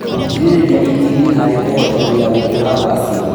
Kũgirĩrĩria itindiĩ harĩ kũhotomia gũkũra gwacio